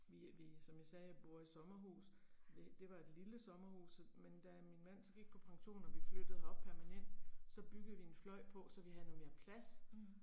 Vi vi som jeg sagde bor i sommerhus, det var et lille sommerhus så men da min mand så gik på pension og vi flyttede herop permanent, så byggede vi en fløj på så vi havde noget mere plads